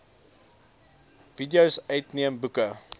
videos uitneem boeke